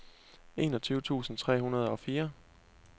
enogtyve tusind tre hundrede og fire